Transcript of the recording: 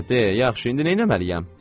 Hə, de, yaxşı, indi nəyləməliyəm?